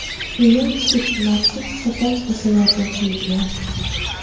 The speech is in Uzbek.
Keyin sut maxsus sopol kosalarga quyilgan.